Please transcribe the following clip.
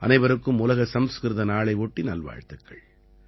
அனைவருக்கும் உலக சம்ஸ்கிருத நாளை ஒட்டி நல்வாழ்த்துக்கள்